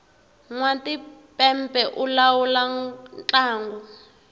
nwatimpepe u lawula ntlangu